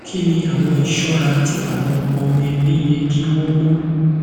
kini awọn iṣọra ti awọn ọmọ ẹbi yẹ ki wọn mu